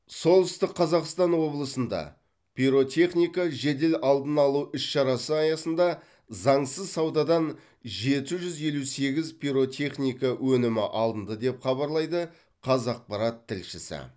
солтүстік қазақстан облысында пиротехника жедел алдын алу іс шарасы аясында заңсыз саудадан жеті жүз елу сегіз пиротехника өнімі алынды деп хабарлайды қазақпарат тілшісі